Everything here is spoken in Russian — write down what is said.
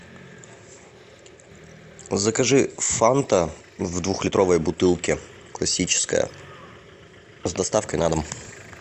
закажи фанта в двухлитровой бутылке классическая с доставкой на дом